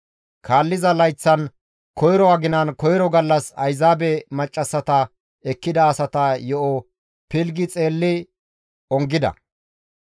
Kaalliza layththan koyro aginan koyro gallas Ayzaabe maccassata ekkida asata yo7o pilggi xeelli ongida.